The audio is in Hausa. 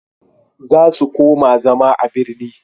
za su koma zama a birni